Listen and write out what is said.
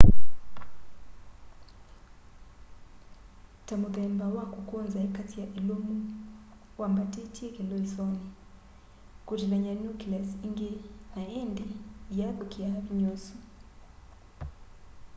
ta muthemba wa kukunza ikasya ilumu wambatitye kilisoni kutilany'a nucleus ingi na indi iyathukia vinya usu